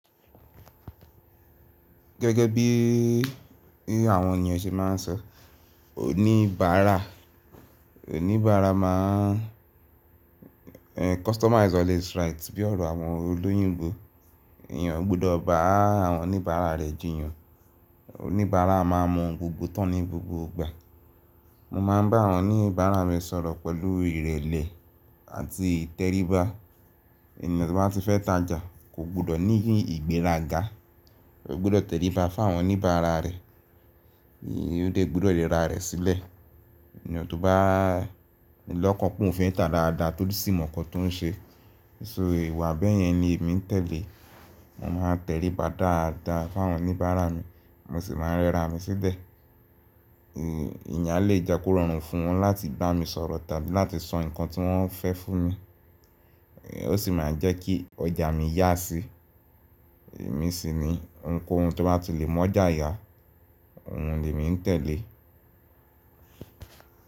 Gẹ́gẹ́ bí àwọn ènìyàn ṣe máa ń sọ oníbàárà, oníbàárà má ń customer is always right bí ọ̀rọ̀ àwọn olóyin ńbo. Ẹ̀yàn gbọ́dọ̀ bá àwọn oníbàárà rẹ̀ jìyàn. Oníbàárà máa mọ gbogbo tán ní gbogbo ìgbà. Mo máa ń bá àwọn oníbàárà mi sọ̀rọ̀ pẹ̀lú ìrẹ̀lẹ̀ àti ìtẹríba. Ènìyàn tó bá ti fẹ́ tajà kò gbọ́dọ̀ ní ìgbéraga, ó gbọ́dọ̀ tẹríba fún àwọn oníbàárà rẹ̀, ó lè gbọ́dọ̀ rẹra rẹ̀ sílẹ̀. Ènìyàn tó bá ní lọ́kàn pọ̀n fún ìta dáadáa torí sì mọ́ nkán tó ń ṣe. So ìwà bẹ́ẹ̀ yẹn ni èmi ń tẹ̀lé. Mo máa ń tẹríba dáadáa fún àwọn oníbàárà mi, mo sì máa ń rẹra mi sílẹ̀. Ìyàléjakórọ̀rùn fún wọn láti bá mi sọ̀rọ̀ tàbí láti sọ nǹkan tí wọ́n fẹ́ fún mi. Ó sì máa ń jẹ́ kí ọjà mi yá sí. Èmi sì ni ohunkóhun tó bá ti le mọ́ ọjà yá, òun ni èmi ń tẹ̀lé.